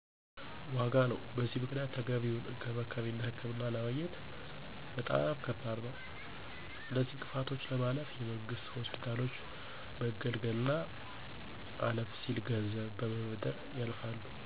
ዋጋ ነው። በዚህም ምክንያት ተገቢውን እንክብካቤና ህክምና ለማግኘት በጣም ከባድ ነዉ። አነዚህን እንቅፋቶች ለማለፍ የመንግስት ሆስፒታሎች መገልገል አና አለፍ ሲል ገንዘብ በመበደር ያልፋሉ።